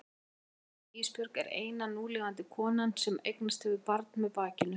Móðir þín Ísbjörg er eina núlifandi konan sem eignast hefur barn með bakinu.